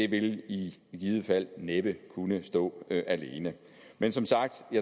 vil i givet fald næppe kunne stå alene men som sagt